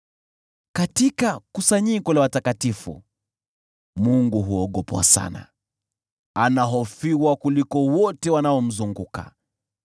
Katika kusanyiko la watakatifu, Mungu huogopwa sana, anahofiwa kuliko wote wanaomzunguka.